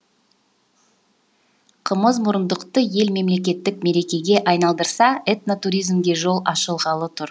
қымызмұрындықты ел мемлекеттік мерекеге айналдырса этно туризмге жол ашылғалы тұр